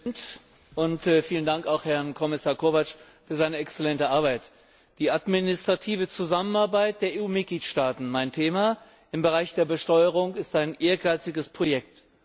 Herr Präsident! Vielen Dank an Herrn Kommissar Kovács für seine exzellente Arbeit. Die administrative Zusammenarbeit der EU Mitgliedstaaten mein Thema im Bereich der Besteuerung ist ein ehrgeiziges Projekt.